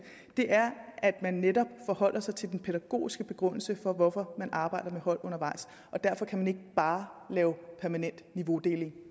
det er at man netop forholder sig til den pædagogiske begrundelse for hvorfor man arbejder med hold undervejs og derfor kan man ikke bare lave permanent niveaudeling